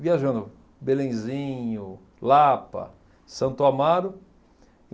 Viajando Belenzinho, Lapa, Santo Amaro.